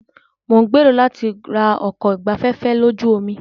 Mo ń gbèrò láti ra ọkọ̀ ìgbafẹ́fẹ́ lójú omi.